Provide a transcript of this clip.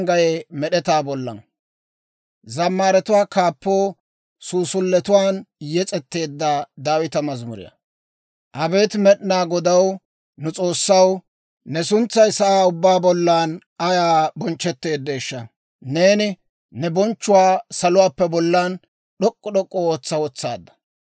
Abeet Med'inaa Godaw, nu S'oossaw, ne suntsay sa'aa ubbaa bollan ayaa bonchchetteeddeeshsha! Neeni ne bonchchuwaa salotuwaappe bollan d'ok'k'u d'ok'k'u ootsa wotsaadda.